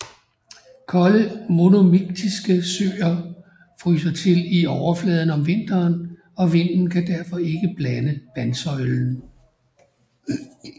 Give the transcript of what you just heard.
Kolde monomiktiske søer fryser til i overfladen om vinteren og vinden kan derfor ikke blande vandsøjlen